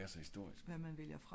det skal bare ikke være så historisk